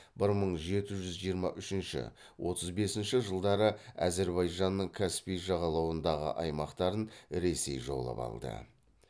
бір мың жеті жүз жиырма үшінші отыз бесінші жылдары әзірбайжанның каспий жағалауындағы аймақтарын ресей жаулап алды